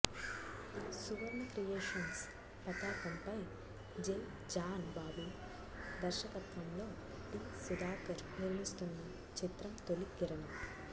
సువర్ణ creations పతాకం పై J John Babu ధర్శకత్వం లో టి సుధాకర్ నిర్మిస్తున్న చిత్రం తొలి కిరణం